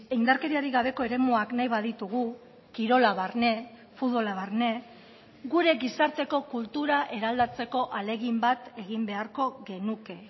indarkeriarik gabeko eremuak nahi baditugu kirola barne futbola barne gure gizarteko kultura eraldatzeko ahalegin bat egin beharko genuke